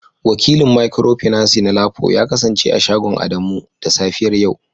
Wakilin micropinaci na lapo ya kasance a shagon Adamu da safiyar yau